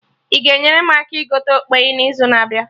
Ị ga enyere m aka gote okpeyi na izu na abịa?